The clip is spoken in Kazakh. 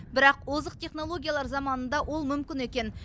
бірақ озық технологиялар заманында ол мүмкін екен